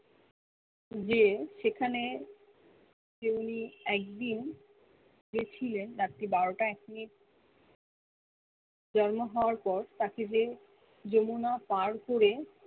যে সেখানে যেওলি একদিন গেছিলেন রাত্রি বারো টা এক মিনিট জন্ম হওয়া পর তাকে যে যমুনা পার করে